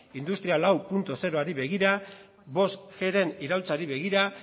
industria lauzeroari begira bostgren iraultzari begira